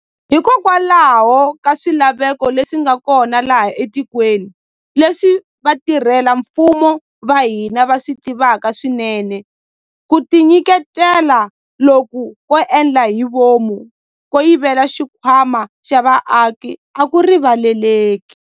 Hikokwalaho ka swilaveko leswi nga kona laha etikweni, leswi vatirhela mfumo va hina va swi tivaka swinene, ku tinyiketela loku ko endla hi vomu ko yivela xikhwama xa vaaki a ku rivaleleki.